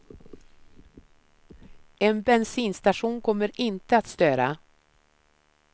En bensinstation kommer inte att störa.